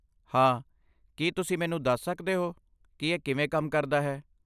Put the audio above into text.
ਹਾਂ, ਕੀ ਤੁਸੀਂ ਮੈਨੂੰ ਦੱਸ ਸਕਦੇ ਹੋ ਕਿ ਇਹ ਕਿਵੇਂ ਕੰਮ ਕਰਦਾ ਹੈ?